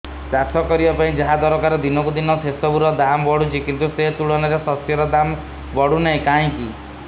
ଚାଷ କରିବା ପାଇଁ ଯାହା ଦରକାର ଦିନକୁ ଦିନ ସେସବୁ ର ଦାମ୍ ବଢୁଛି କିନ୍ତୁ ସେ ତୁଳନାରେ ଶସ୍ୟର ଦାମ୍ ବଢୁନାହିଁ କାହିଁକି